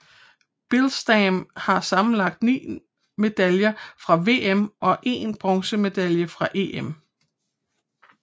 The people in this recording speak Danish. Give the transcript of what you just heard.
Billstam har sammenlagt ni medaljer fra VM og én bronzemedalje fra EM